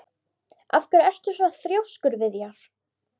Af hverju ertu svona þrjóskur, Viðjar?